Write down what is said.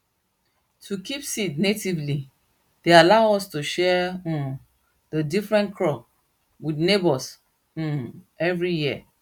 to keep seed natively dey allow us to share um dey different crop wit neighbours um every year